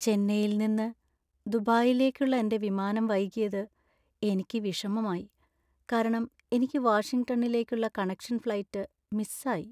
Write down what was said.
ചെന്നൈയിൽ നിന്ന് ദുബായിലേക്കുള്ള എന്‍റെ വിമാനം വൈകിയത് എനിക്ക് വിഷമമായി , കാരണം എനിക്ക് വാഷിംഗ്ടണിലേക്കുള്ള കണക്ഷൻ ഫ്ലൈറ്റ് മിസ് ആയി .